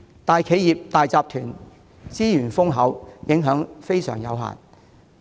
大企業和大集團資源豐厚，所受的影響有限。